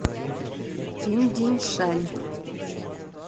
пиндиншань